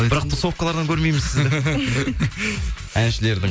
бірақ тусовкалардан көрмейміз сізді әншілердің